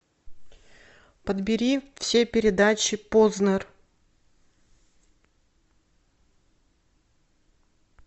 подбери все передачи познер